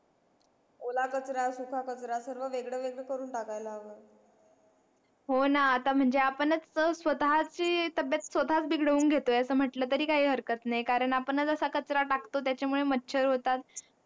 ओला कचरा सुखा कचरा पूर्ण वेगळे वेगळे करून टाकायला हवे हो ना आता म्हणजे आपणंच स्वतः ची तब्बेत स्वतः हा बिघडवून घेतो असं म्हटलं तरी काही हरकत नाही कारण आपणच असा कचरा टाकतो त्याच्या मुळे मच्छर होतात